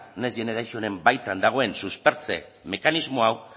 next generationen baitan dagoen suspertze mekanismo hau